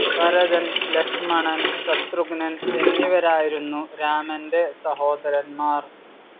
ഭരതൻ, ലക്ഷ്മണൻ, ശത്രുഘ്നൻ എന്നിവരായിരുന്നു രാമന്റെ സഹോദരൻമാർ.